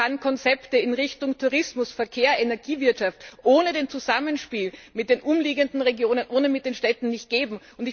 Aber es kann Konzepte in Richtung Tourismus, Verkehr, Energiewirtschaft ohne das Zusammenspiel mit den umliegenden Regionen oder mit den Städten nicht geben.